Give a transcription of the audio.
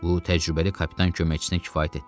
Bu təcrübəli kapitan köməkçisinə kifayət etdi.